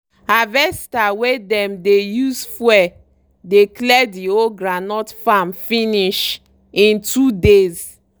harvester wey dem the use fuel dey clear the whole groundnut farm finish in two days.